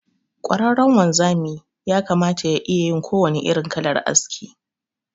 Ƙwararren anzami yakamata ya iyayin kowannen irin kalar aski.